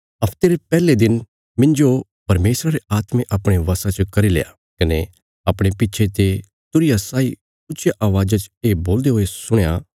हफ्ते रे पैहले दिन मिन्जो परमेशरा रे आत्मे अपणे वशा च करील्या कने अपणे पिछे ते तुरहिया साई ऊच्चिया अवाज़ा च ये बोलदे हुये सुणया